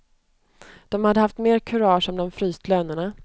De hade haft mer kurage om de fryst lönerna.